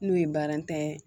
N'o ye baara ntanya ye